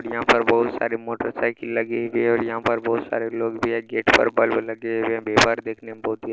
यहाँ पर बहुत सारी मोटर साइकिल लगी है और यहाँ पे बहुत सरे लोग भी है गेट पर बल्ब लगे हुए हैं पेपर देखने बहुत ही --